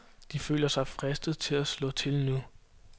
De føler sig fristet til at slå til nu.